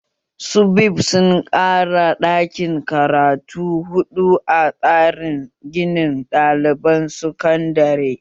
SUBEB sun ƙara daƙin karatu huɗu a tsarin ginin ɗaliban sakandare